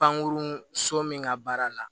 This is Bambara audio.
Pankurun so min ka baara la